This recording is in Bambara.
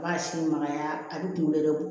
A b'a si magaya a bi kunkolo yɛrɛ bɔ